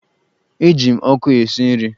E ji ọkụ esi nri.